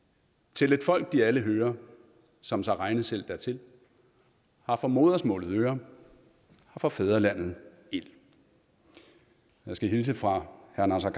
til et folk de alle hører som sig regne selv dertil har for modersmaalet øre har for fædrelandet ild jeg skal hilse fra herre naser